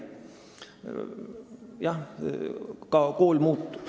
Jah, ka kool muutub.